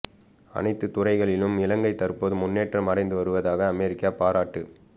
அனைத்து துறைகளிலும் இலங்கை தற்போது முன்னேற்றம் அடைந்து வருவதாக அமெரிக்கா பாராட்டு